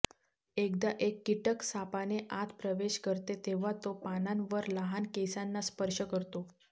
एकदा एक कीटक सापाने आत प्रवेश करते तेव्हा तो पानांवर लहान केसांना स्पर्श करतो